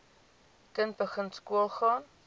kind begin skoolgaan